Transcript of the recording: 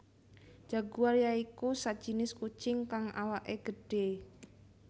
Jaguar ya iku sajinis kucing kang awaké gedhé